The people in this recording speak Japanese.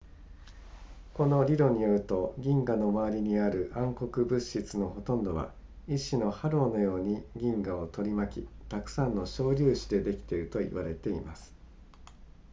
この理論によると銀河の周りにある暗黒物質のほとんどは一種のハローのように銀河を取り巻きたくさんの小粒子でできていると言われています